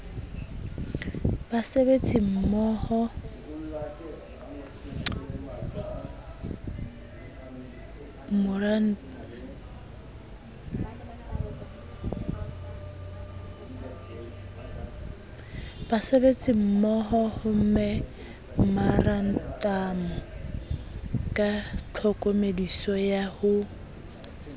basebetsimmohomemorantamo ka tlhokomediso ya ho